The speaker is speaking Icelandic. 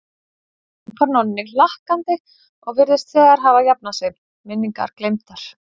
hrópar Nonni hlakkandi og virðist þegar hafa jafnað sig, minningar gleymdar.